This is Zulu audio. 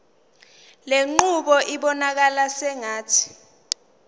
lenqubo ibonakala sengathi